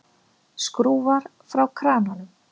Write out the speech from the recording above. Skrúfar frá krananum.